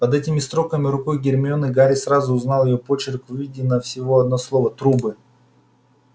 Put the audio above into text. под этими строками рукой гермионы гарри сразу узнал её почерк выведено всего одно слово трубы